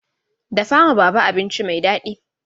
Dafa ma baba abinci mai dadi!